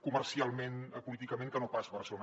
comercialment políticament que no pas barcelona